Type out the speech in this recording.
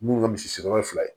Mun ye misi sigiyɔrɔ ye fila ye